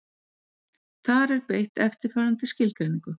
Þar er beitt eftirfarandi skilgreiningu: